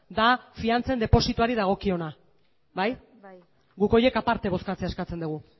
da fidantzen depositoari dagokiona bai bai guk horiek aparte bozkatzea eskatzen dugu